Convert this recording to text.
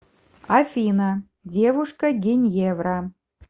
афина девушка геньевра